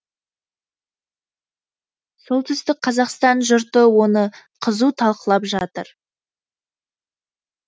солтүстік қазақстан жұрты оны қызу талқылап жатыр